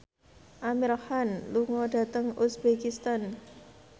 Amir Khan lunga dhateng uzbekistan